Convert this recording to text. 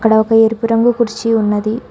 అక్కడ ఒక ఎరుపు రంగు కుర్చీ ఉన్నది.